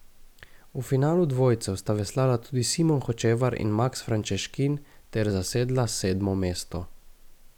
V finalu dvojcev sta veslala tudi Simon Hočevar in Maks Frančeškin ter zasedla sedmo mesto.